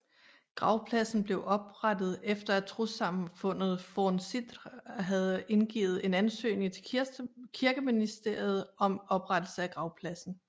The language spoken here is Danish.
Gravpladsen blev oprettet efter at trossamfundet Forn Siðr havde indgivet en ansøgning til Kirkeministeriet om oprettelse af gravpladsen